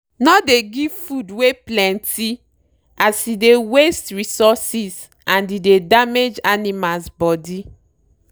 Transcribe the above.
no dey give food wey plenty as e dey waste resources and e dey damage animals body.